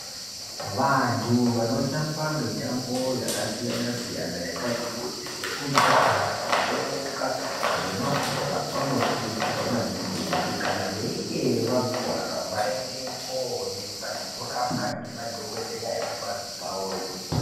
Vantu vano tamba mitambo yaka siyana siyana yakati kuti seku jaha ku tomuka ne mabhora ano kurudzirwa maningi kuti kana veinge vakuvara vainde koonekwa neku rapwa ngema dhokoteya eku bazi rakona ko.